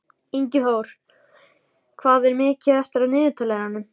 Ingiþór, hvað er mikið eftir af niðurteljaranum?